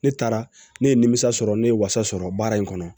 Ne taara ne ye nimisa sɔrɔ ne ye wasa sɔrɔ baara in kɔnɔ